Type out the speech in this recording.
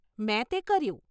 મેં તે કર્યું.